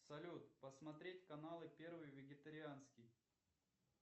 салют посмотреть каналы первый вегетарианский